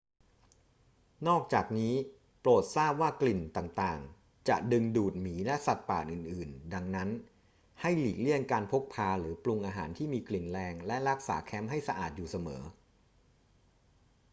นอกจากนี้ โปรดทราบว่ากลิ่นต่าง ๆ จะดึงดูดหมีและสัตว์ป่าอื่น ๆ ดังนั้น ให้หลีกเลี่ยงการพกพาหรือปรุงอาหารที่มีกลิ่นแรง และรักษาแคมป์ให้สะอาดอยู่เสมอ